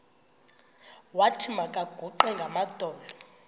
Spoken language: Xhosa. wathi makaguqe ngamadolo